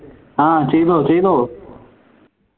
ആഹ് ചെയ്തോ ചെയ്തോ